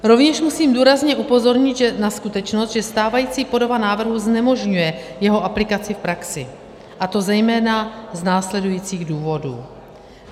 Rovněž musím důrazně upozornit na skutečnost, že stávající podoba návrhu znemožňuje jeho aplikaci v praxi, a to zejména z následujících důvodů.